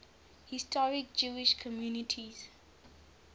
historic jewish communities